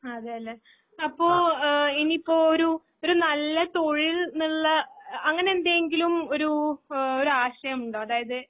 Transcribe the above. അതേയല്ലെ. അപ്പോ ഇനിയിപ്പൊ ഒരു നല്ല തൊഴിൽന്നുള്ള അഅങ്ങനെന്തെങ്കിലും ഒരൂ ഏഹ് ഒരാശയമുണ്ടൊ അതായത്